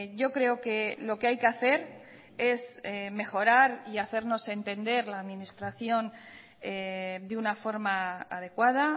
yo creo que lo que hay que hacer es mejorar y hacernos entender la administración de una forma adecuada